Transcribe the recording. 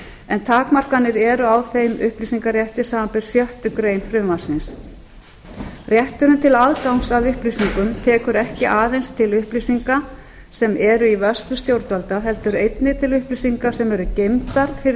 en takmarkanir eru á þeim upplýsingarétti samanber sjöttu greinar frumvarpsins rétturinn til aðgangs að upplýsingum tekur ekki aðeins til upplýsinga sem eru í vörslu stjórnvalda heldur einnig til upplýsinga sem eru geymdar fyrir